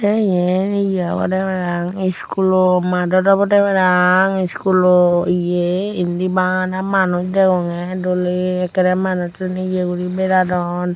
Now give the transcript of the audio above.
tey iyen ye obodey parapang iskulo maadot obodey parapang iskulo ye indi bana manuj degongey doley ekkorey manujjun ye guri beradon.